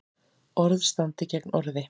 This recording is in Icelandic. Orð standi gegn orði